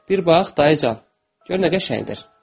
Bir bax, dayıcan, gör nə qəşəngdir.